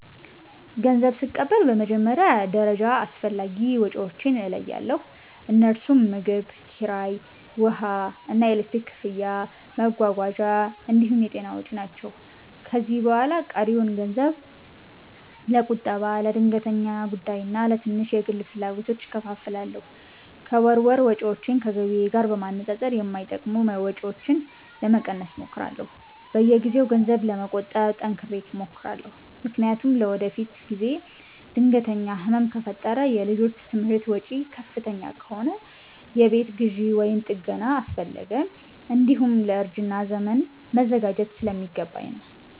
ገንዘብ ስቀበል በመጀመሪያ ደረጃ አስፈላጊ ወጪዎቼን እለያለሁ፤ እነርሱም ምግብ፣ ኪራይ፣ ውሃና ኤሌክትሪክ ክፍያ፣ መጓጓዣ እንዲሁም የጤና ወጪ ናቸው። ከዚያ በኋላ ቀሪውን ገንዘብ ለቁጠባ፣ ለድንገተኛ ጉዳይና ለትንሽ የግል ፍላጎቶች እከፋፍላለሁ። ከወር ወር ወጪዎቼን ከገቢዬ ጋር በማነጻጸር የማይጠቅሙ ወጪዎችን ለመቀነስ እሞክራለሁ። በየጊዜው ገንዘብ ለመቆጠብ ጠንክሬ እሞክራለሁ፤ ምክንያቱም ለወደፊት ጊዜ ድንገተኛ ህመም ከፈጠረ፣ የልጆች ትምህርት ወጪ ከፍተኛ ከሆነ፣ የቤት ግዢ ወይም ጥገና አስፈለገ፣ እንዲሁም ለእርጅና ዘመን መዘጋጀት ስለሚገባኝ ነው።